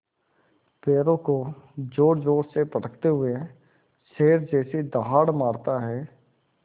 पैरों को ज़ोरज़ोर से पटकते हुए शेर जैसी दहाड़ मारता है